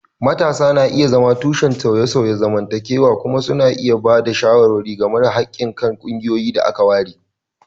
Matasa na iya zama tushen sauye-sauyen zamantakewa kuma suna iya ba da shawara ga haƙƙin kan ƙungiyoyin da aka ware